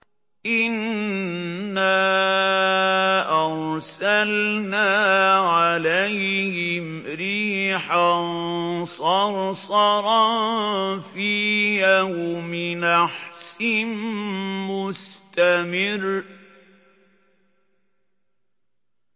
إِنَّا أَرْسَلْنَا عَلَيْهِمْ رِيحًا صَرْصَرًا فِي يَوْمِ نَحْسٍ مُّسْتَمِرٍّ